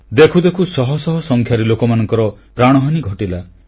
ଦେଖୁ ଦେଖୁ ଶହଶହ ସଂଖ୍ୟାରେ ଲୋକମାନଙ୍କର ପ୍ରାଣହାନି ଘଟିଲା